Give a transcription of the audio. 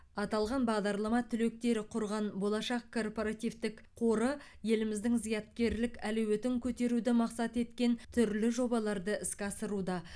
аталған бағдарлама түлектері құрған болашақ корпоративтік қоры еліміздің зияткерлік әлеуетін көтеруді мақсат еткен түрлі жобаларды іске асыруда